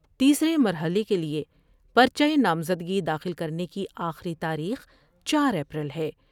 تیسرے مرحلے کے لئے پر چہ نامزدگی داخل کرنے کی آخری تاریخ چار اپریل ہے ۔